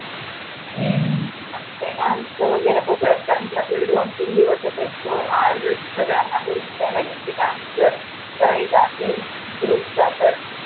आणि मग काय dance च वगैरे पण कारण कि आपल्याला दोन तीन दिवस आज सगळ्यांना बोलून घ्यावा लागेल की dance जर करायचा असेल group चा तर